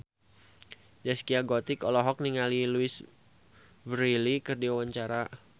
Zaskia Gotik olohok ningali Louise Brealey keur diwawancara